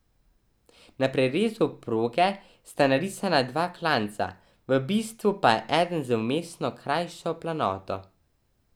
Na prerezu proge sta narisana dva klanca, v bistvu pa je eden z vmesno krajšo planoto.